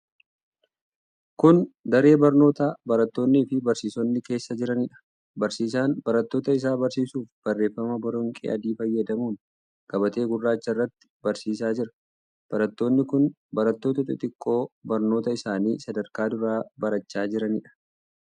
Kun, daree barnootaa barattoonni fi barsiisonni keessa jiranii dha. Barsiisaan barattoota isaa barsiisuuf barreeffama boronqii adii fayyadamuun gabatee gurraacha irratti barsiisaa jira. Barattoonni kun barattoota xixiqqoo barnoota isaanii sadarkaa duraa barachaa jiranii dha.